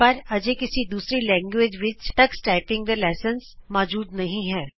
ਪਰ ਅਜੇ ਕਿਸੀ ਦੂਜੀ ਭਾਸ਼ਾ ਵਿਚ ਟਕਸ ਟਾਈਪਿੰਗ ਤੇ ਪਾਠ ਕ੍ਰਮ ਮੋਜੂਦ ਨਹੀਂ ਹਨ